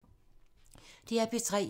DR P3